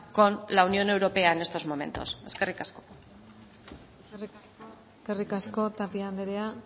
con la unión europea en estos momentos eskerrik asko eskerrik asko tapia anderea